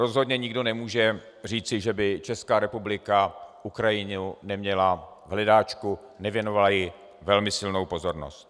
Rozhodně nikdo nemůže říci, že by Česká republika Ukrajinu neměla v hledáčku, nevěnovala jí velmi silnou pozornost.